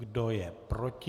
Kdo je proti?